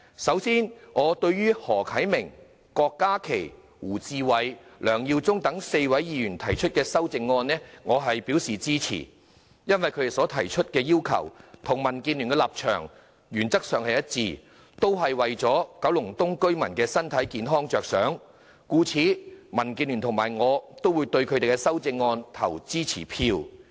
首先，對於何啟明議員、郭家麒議員、胡志偉議員及梁耀忠議員4位議員提出的修正案，我表示支持，因為他們的要求與民主建港協進聯盟的立場原則上一致，也是為了保障九龍東居民的健康，故此民建聯與我也會對他們的修正案投支持票。